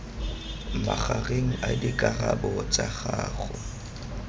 magareng a dikarabo tsa gago